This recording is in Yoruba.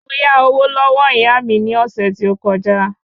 Mo yá owó lọ́wọ́ ìyá mi ni ọ̀sẹ̀ tí ó kọ já